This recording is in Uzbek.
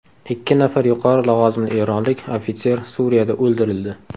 Ikki nafar yuqori lavozimli eronlik ofitser Suriyada o‘ldirildi.